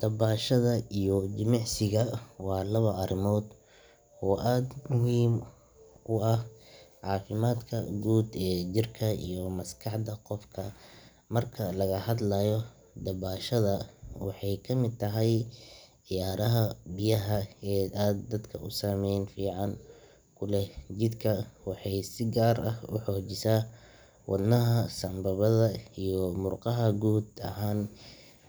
Dabashada iyo jimicsigu waa laba arrimood oo aad muhiim ugu ah caafimaadka guud ee jirka iyo maskaxda qofka marka laga hadlayo dabashada waxay ka mid tahay ciyaaraha biyaha ah ee aadka u saamayn fiican ku leh jidhka waxayna si gaar ah u xoojisaa wadnaha, sambabada iyo murqaha guud ahaan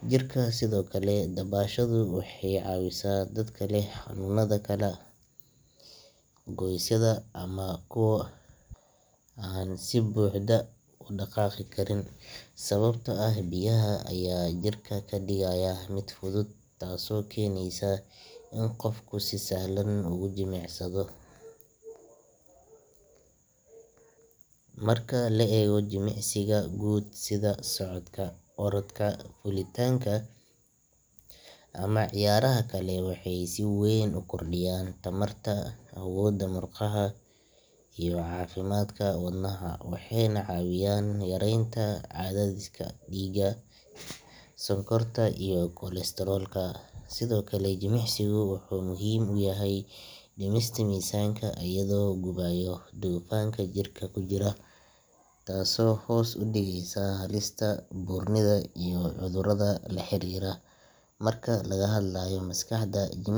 jirka sidoo kale dabashadu waxay caawisaa dadka leh xanuunnada kala goysyada ama kuwa aan si buuxda u dhaqaaqi karin sababtoo ah biyaha ayaa jirka ka dhigaya mid fudud taasoo keenaysa in qofku si sahlan ugu jimicsado marka la eego jimicsiga guud sida socodka, orodka, fuulitaanka ama ciyaaraha kale waxay si weyn u kordhiyaan tamarta, awoodda murqaha iyo caafimaadka wadnaha waxayna caawiyaan yareynta cadaadiska dhiigga, sonkorta iyo kolestaroolka sidoo kale jimicsigu wuxuu muhiim u yahay dhimista miisaanka iyadoo uu gubayo dufanka jirka ku jira taasoo hoos u dhigaysa halista buurnida iyo cudurrada la xiriira marka laga hadlayo maskaxda jimicsiga iyo dabashadu waxay sii daayaan endorphins kuwaasoo ah kiimiko farxad keenta waxayna yareeyaan walbahaarka, welwelka iyo niyad-jabka taasoo qofka ka dhigaysa mid faraxsan, hurdo fiican leh oo leh niyad wanaagsan marka la isku daro dabashada iyo jimi.